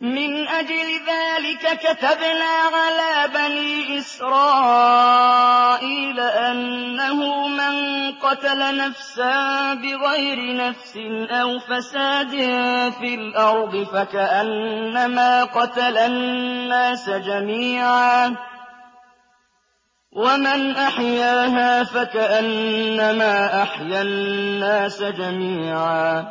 مِنْ أَجْلِ ذَٰلِكَ كَتَبْنَا عَلَىٰ بَنِي إِسْرَائِيلَ أَنَّهُ مَن قَتَلَ نَفْسًا بِغَيْرِ نَفْسٍ أَوْ فَسَادٍ فِي الْأَرْضِ فَكَأَنَّمَا قَتَلَ النَّاسَ جَمِيعًا وَمَنْ أَحْيَاهَا فَكَأَنَّمَا أَحْيَا النَّاسَ جَمِيعًا ۚ